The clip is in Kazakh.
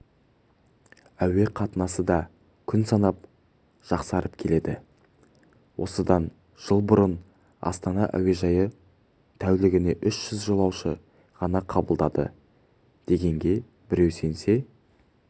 әуе қатынасы да күн санап жақсарып келеді осыдан жыл бұрын астана әуежайы тәулігіне үш жүз жолаушы ғана қабылдады дегенге біреу сенсе